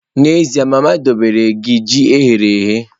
N'ezie, mama dobere gi ji eghere eghe.